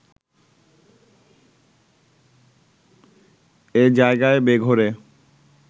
এ জায়গায় বেঘোরে